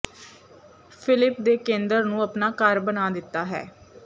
Philip ਦੇ ਕੇਂਦਰ ਨੂੰ ਆਪਣਾ ਘਰ ਬਣਾ ਦਿੱਤਾ ਹੈ